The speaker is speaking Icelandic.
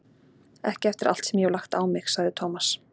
Ekki eftir allt sem ég hef lagt á mig, sagði Thomas.